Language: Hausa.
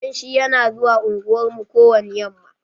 Danshi yana zuwa unguwar mu ko wani yamma.